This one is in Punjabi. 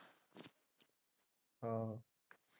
ਆਹੋ।